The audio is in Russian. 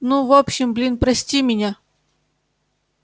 ну в общем блин прости меня